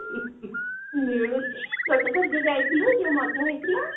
ମିଳୁଛି ଗୋଟେ ଥର ଯଉ ଯାଇଥିଲୁ ଯଉ ମଜା ହେଇଥିଲା।